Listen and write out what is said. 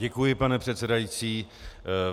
Děkuji, pane předsedající.